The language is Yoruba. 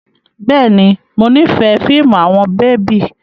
Bẹ́ẹ̀ni, mo nifẹ fiimu awọn bebi